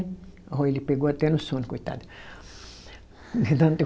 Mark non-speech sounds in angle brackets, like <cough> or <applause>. Ó ele pegou até no sono, coitado. <unintelligible>